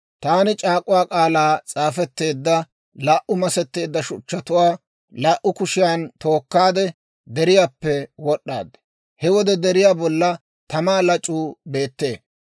«Taani c'aak'uwaa k'aalay s'aafetteedda laa"u masetteedda shuchchatuwaa laa"u kushiyan tookkaade deriyaappe wod'd'aad; he wode deriyaa bolla tamaa lac'uu beettee.